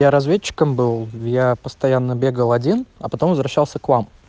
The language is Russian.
я разведчиком был я постоянно бегал один а потом возвращался к вам